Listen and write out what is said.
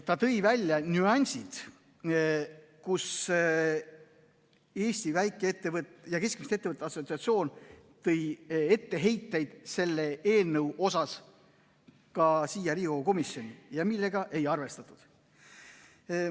Ta tõi välja nüansid, mis puhul Eesti Väike‑ ja Keskmiste Ettevõtjate Assotsiatsioon tõi etteheiteid selle eelnõu kohta ka Riigikogu komisjoni ja neid ei arvestatud.